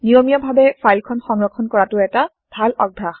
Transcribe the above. নিয়মিয়া ভাৱে ফাইল খন সংৰক্ষণ কৰাতো এটা ভাল অভ্যাস